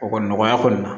O kɔni nɔgɔya kɔni